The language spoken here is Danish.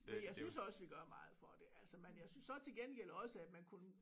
Men jeg synes også vi gør meget for det altså men jeg synes så til gengæld også at man kunne